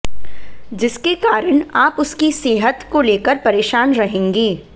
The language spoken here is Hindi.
जिसके कारण आप उसकी सेहत को लेकर परेशान रहेगे